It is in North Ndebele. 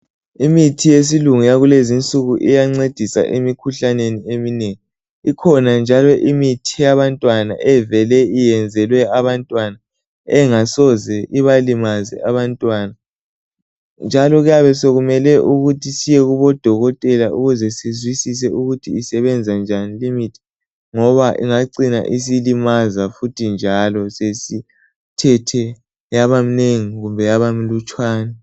imithi yesilungu yakulezinsuku iyancedisa emikhuhlaneni eminengi ikhona njalo imithi yabantwana evele iyenzelwe abantwana engasoze ibalimaze abantwana njalo kuyabe sokumele ukuthi siyekubo dokotela ukuze sizwisise ukuthi isebenza njani ngoba ingacina isilimaza njalo sesithethe yabamnengi kumbe yaba mlutshwane